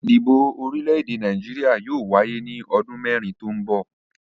Ìdìbò orílẹ̀-èdè Nàìjíríà yóò wáyé ní ọdún mẹ́rin tó ń bọ̀.